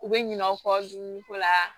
U bɛ ɲinɛ u kɔ dumuniko la